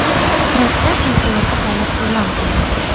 Hirotda favqulodda holat e’lon qilindi.